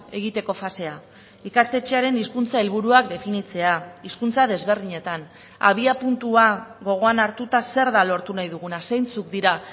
egiteko fasea ikastetxearen hizkuntza helburuak definitzea hizkuntza desberdinetan abia puntua gogoan hartuta zer da lortu nahi duguna zeintzuk dira